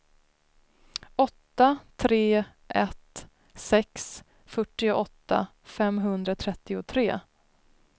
åtta tre ett sex fyrtioåtta femhundratrettiotre